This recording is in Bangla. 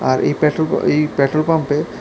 আর এই পেট্রোল এই পেট্রোলপাম্পে--